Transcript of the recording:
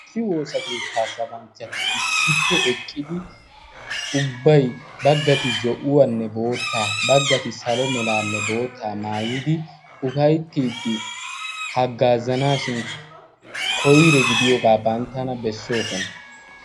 issi woosa keettaa sabanchchati issippe eqqidi ubbay baggati zo'uwaanne boottaa baggati salo meraanne boottaa maayidi ufayttiiddi haggaazanaashin koyre gidiyoogaa banttana bessoosona.